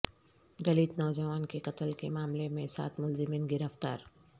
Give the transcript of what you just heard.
دلت نوجوان کے قتل کے معاملے میں سات ملزمین گرفتار